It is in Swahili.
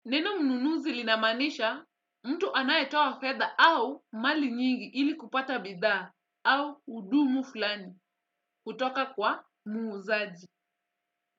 Neno mnunuzi linamanisha mtu anayetoa fedha au mali nyingi ili kupata bidhaa au uhudumu fulani kutoka kwa muuzaji.